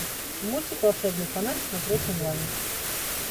мультик волшебный фонарь смотреть онлайн